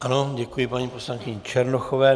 Ano, děkuji paní poslankyni Černochové.